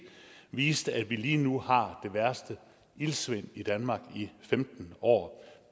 viste at vi lige nu har det værste iltsvind i danmark i femten år